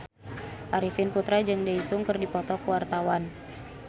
Arifin Putra jeung Daesung keur dipoto ku wartawan